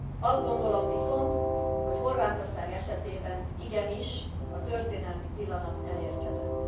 Azt gondolom viszont, hogy Horvátország esetében igenis a történelmi pillanat elérkezett.